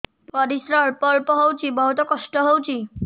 ପରିଶ୍ରା ଅଳ୍ପ ଅଳ୍ପ ହଉଚି ବହୁତ କଷ୍ଟ ହଉଚି